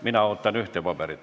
Mina ootan jälle ühte paberit.